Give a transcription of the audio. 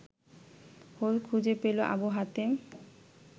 whole খুঁজে পেল আবু হাতেম